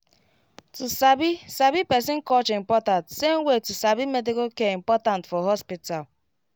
to sabi sabi person culture important same way to sabi medical care important for hospital